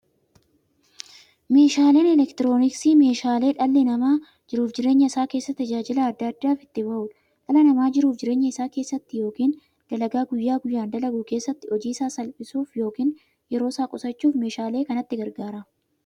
Meeshaaleen elektirooniksii meeshaalee dhalli namaa jiruuf jireenya isaa keessatti, tajaajila adda addaa itti bahuudha. Dhalli namaa jiruuf jireenya isaa keessatti yookiin dalagaa guyyaa guyyaan dalagu keessatti, hojii isaa salphissuuf yookiin yeroo isaa qusachuuf meeshaalee kanatti gargaarama.